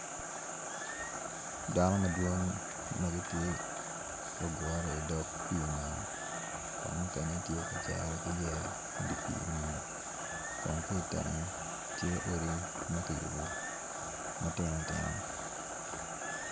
Dano madwong magitye gugure i dog pi nam kun mukene tye ka cero ki yeya i dipi man kun kitenge tye odi makiyubo matino tino.